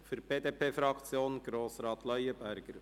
Für die BDP-Fraktion spricht Grossrat Leuenberger.